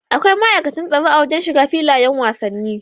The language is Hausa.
Akwai ma'aikatan tsaro a wajan shiga filayan wasanni